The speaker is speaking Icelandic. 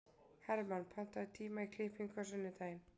Hermann, pantaðu tíma í klippingu á sunnudaginn.